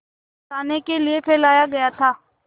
फँसाने के लिए फैलाया गया था